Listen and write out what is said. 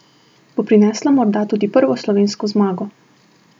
Bo prinesla morda tudi prvo slovensko zmago?